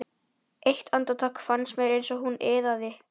Eitt andartak fannst mér eins og hún iðaði.